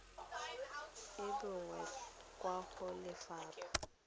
e bonwa kwa go lefapha